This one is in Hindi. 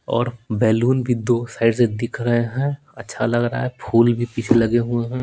और बैलून भी दो साइड से दिख रहे हैं अच्छा लग रहा है फूल भी पीछे लगे हुए हैं।